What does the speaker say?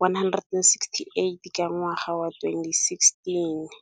168 ka ngwaga wa 2016.